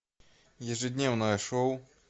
ежедневное шоу